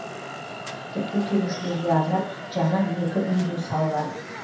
тіпті келушілерге арнап жаңа екі үй де салған